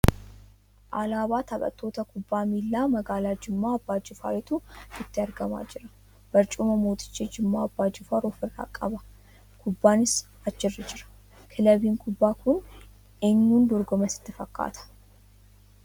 Alaabaa taphattoota kubbaa miilaa magaalaa Jimma Abbaa Jifaariitu nutti argamaa jira. Barcuma Mooticha Jimmaa Abbaa jifaar of irraa qaba. Kubbaanis achi irra jira. Kilabiin kubbaa kun eenyuun dorgoma sitti fakkaata?